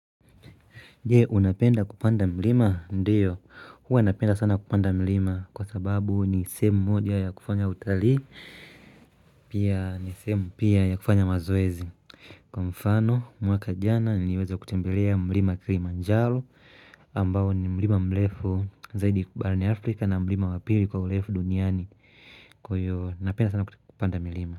Je, unapenda kupanda mlima, ndiyo, huwa napenda sana kupanda mlima kwa sababu ni sehemu moja ya kufanya utalii Pia ni sehemu pia ya kufanya mazoezi Kwa mfano, mwaka jana niliweza kutembelea mlima kilimanjaro ambao ni mlima mrefu zaidi barani afrika na mlima wa pili kwa urefu duniani Kwa hiyo napenda sana kupanda mlima.